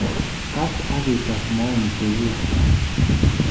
Kaas ak ii tees maoni cheguuk